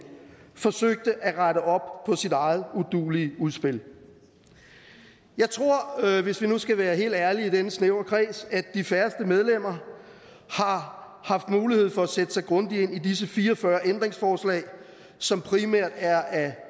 forsøgte at rette op på sit eget uduelige udspil jeg tror hvis vi nu skal være helt ærlige i denne snævre kreds at de færreste medlemmer har haft mulighed for at sætte sig grundigt ind i disse fire og fyrre ændringsforslag som primært er af